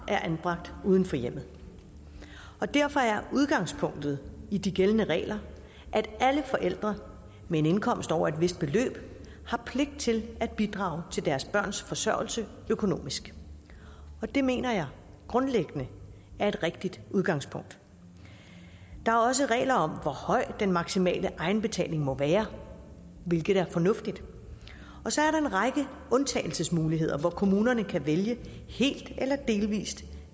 er anbragt uden for hjemmet derfor er udgangspunktet i de gældende regler at alle forældre med en indkomst over et vist beløb har pligt til at bidrage til deres børns forsørgelse økonomisk og det mener jeg grundlæggende er et rigtigt udgangspunkt der er også regler om hvor høj den maksimale egenbetaling må være hvilket er fornuftigt så er der en række undtagelsesmuligheder hvor kommunerne kan vælge helt eller delvis